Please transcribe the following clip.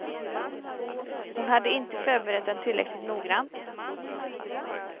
Hon hade inte förberett dem tillräckligt noggrant.